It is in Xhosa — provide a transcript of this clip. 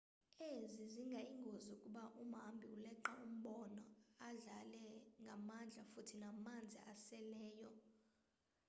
ezi zingayingozi ukuba umhambi uleqa umbono adlale ngamandla futhi namanzi aseleyo